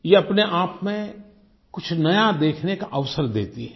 ये अपने आप में कुछ नया देखने का अवसर देती है